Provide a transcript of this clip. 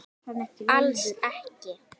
Alls ekki!